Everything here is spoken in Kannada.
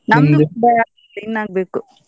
ಬ~ ಇನ್ ಆಗ್ಬೇಕು.